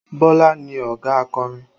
Bọlá ni ọ̀gá akọrin